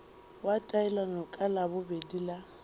wa taelano ka labobedi la